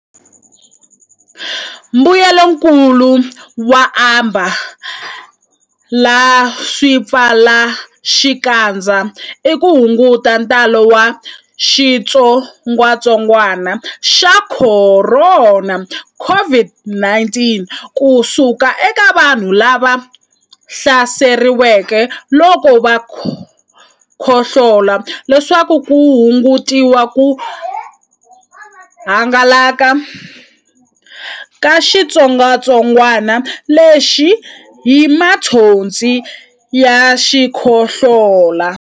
Mbuyelonkulu wo ambala swipfalaxikandza i ku hunguta ntalo wa xitsongwantsongwana xa Khorona, COVID-19 ku suka eka vanhu lava hlaseriweke loko va khohlola leswaku ku hungutiwa ku hangalaka ka xitsongwatsongwana lexi hi mathonsi ya xikhohlola.